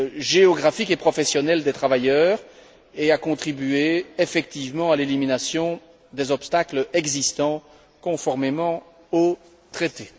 géographique et professionnelle des travailleurs, et à contribuer effectivement à l'élimination des obstacles existants, conformément au traité.